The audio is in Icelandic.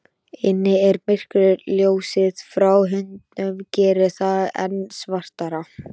Inni er myrkur, ljósið frá hundinum gerir það enn svartara.